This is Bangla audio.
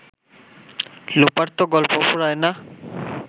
লোপার তো গল্প ফুরায় না